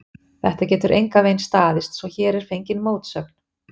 Þetta getur engan veginn staðist, svo hér er fengin mótsögn.